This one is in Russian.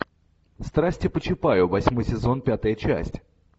страсти по чапаю восьмой сезон пятая часть